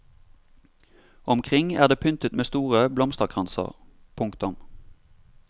Omkring er det pyntet med store blomsterkranser. punktum